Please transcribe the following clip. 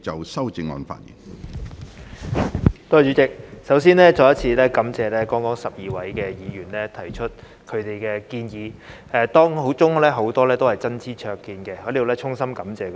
主席，首先再次感謝剛才12位議員提出他們的建議，當中很多是真知灼見，我在此衷心感謝他們。